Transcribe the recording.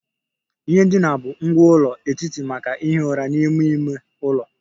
Ihe ndina bụ ngwá ụlọ etiti maka ihi ụra n'ime ime ụlọ